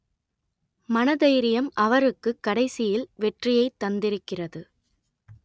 மனதைரியம் அவருக்கு கடைசியில் வெற்றியை தந்திருக்கிறது